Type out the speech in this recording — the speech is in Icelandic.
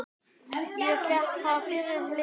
Ég fékk það fyrir lítið.